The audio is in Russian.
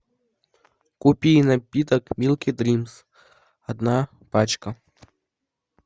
купи напиток милки дримс одна пачка